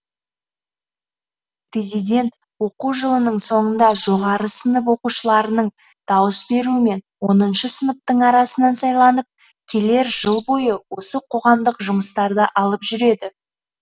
президент оқу жылының соңында жоғары сынып оқушыларының дауыс беруімен оныншы сыныптың арасынан сайланып келер жыл бойы осы қоғамдық жұмыстарды алып жүреді